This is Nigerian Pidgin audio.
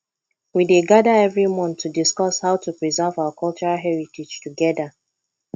we dey gather every month to discuss how to preserve our cultural heritage together